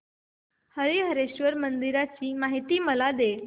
हरीहरेश्वर मंदिराची मला माहिती दे